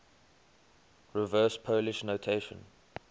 reverse polish notation